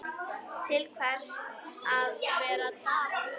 Til hvers að vera dapur?